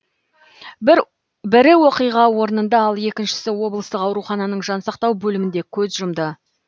бірі оқиға орнында ал екіншісі облыстық аурухананың жансақтау бөлімінде көз жұмды